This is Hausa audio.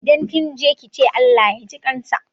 Idan kinje kice Allah yaji ƙansa.